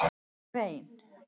Grein